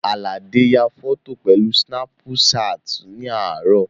Àlàdé ya fọ́tò pẹ̀lú sínápú ṣáàtì ní àárọ̀